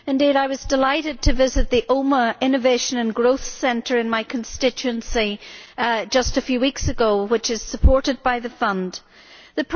Indeed, I was delighted to visit the Omagh Innovation and Growth Centre in my constituency just a few weeks ago, which is supported by the Cohesion Fund.